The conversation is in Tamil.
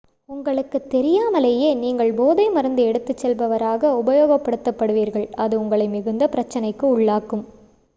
உங்களுத் தெரியாமலேயே நீங்கள் போதை மருந்து எடுத்துச் செல்பவராக உபயோகப்படுத்தப்படுவீர்கள் அது உங்களை மிகுந்த பிரச்சினைக்கு உள்ளாக்கும்